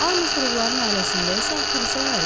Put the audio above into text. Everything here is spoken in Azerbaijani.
Armstrongların ailəsində isə aktrisa var idi.